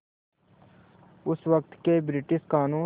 उस वक़्त के ब्रिटिश क़ानून